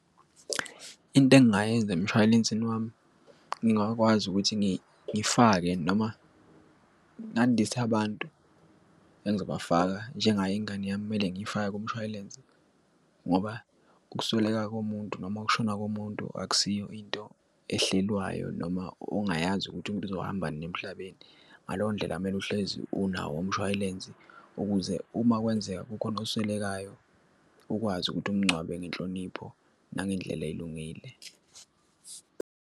Into engingayenza emshwalensini wami ngingakwazi ukuthi ngifake noma ngandise abantu engizobafaka njengayo ingane yami kumele ngiyifake kumshwalense ngoba ukusweleka komuntu noma ukushona komuntu akusiyo into ehlelwayo, noma ongayazi ukuthi umuntu uzohamba nini emhlabeni. Ngaleyo ndlela kumele uhlezi unawo umshwalense ukuze uma kwenzeka kukhona oswelekayo ukwazi ukuthi umngcwabe ngenhlonipho nangendlela elungile.